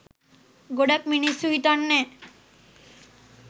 ගොඩක් මිනිස්සු හිතන්නේ